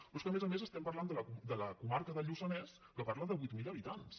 però és que a més a més estem parlant de la comarca del lluçanès que parla de vuit mil habitants